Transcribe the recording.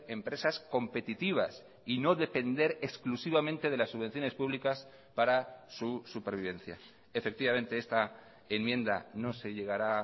empresas competitivas y no depender exclusivamente de las subvenciones públicas para su supervivencia efectivamente esta enmienda no se llegará